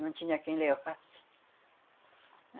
Não tinha quem levasse.